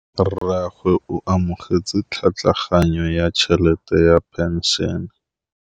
Rragwe o amogetse tlhatlhaganyô ya tšhelête ya phenšene.